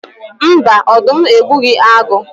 Mba, ọdụm egbughi agụ